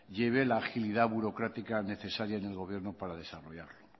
lleve la agilidad burocrática necesaria en el gobierno para desarrollarla